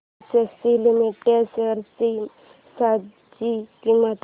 ACC limited shares ची सध्याची किंमत